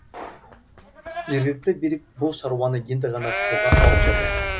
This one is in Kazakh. жергілікті билік бұл шаруаны енді ғана қолға алып жатыр